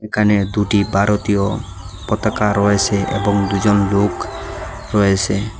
একানে দুটি বারতীয় পতাকা রয়েসে এবং দু'জন লোক রয়েসে।